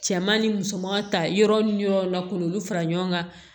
Cɛman ni musoman ta yɔrɔ ni yɔrɔ la k'olu fara ɲɔgɔn kan